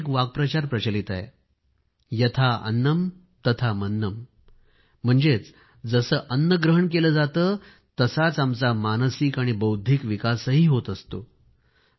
आमच्याकडे एक वाक्प्रचार प्रचलित आहे यथा अन्नम तथा मन्नम म्हणजेच जसे अन्न ग्रहण केले जाते तसाच आमचा मानसिक आणि बौद्धिक विकासही होत असतो